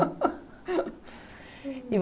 E